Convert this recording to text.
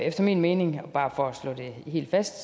efter min mening bare for at slå det helt fast